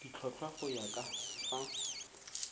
ditlhotlhwa go ya ka fa